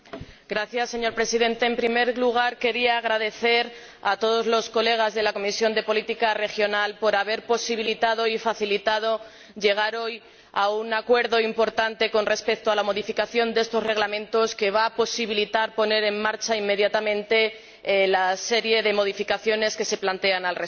Señor Presidente, en primer lugar quiero agradecer a todos los colegas de la Comisión de Política Regional que hayan posibilitado y facilitado llegar hoy a un acuerdo importante con respecto a la modificación de estos reglamentos, que va a permitir poner en marcha, inmediatamente, la serie de modificaciones que se plantean al respecto.